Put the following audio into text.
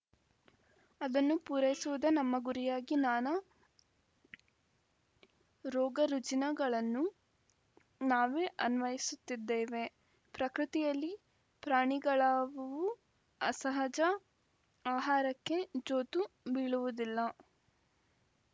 ಅದನ್ನು ಪೂರೈಸುವುದೇ ನಮ್ಮ ಗುರಿಯಾಗಿ ನಾನಾ ರೋಗರುಜಿನಗಳನ್ನು ನಾವೇ ಅನ್ವಯಸುತ್ತಿದ್ದೇವೆ ಪ್ರಕೃತಿಯಲ್ಲಿ ಪ್ರಾಣಿಗಳಾವುವೂ ಅಸಹಜ ಆಹಾರಕ್ಕೆ ಜೋತು ಬೀಳುವುದಿಲ್ಲ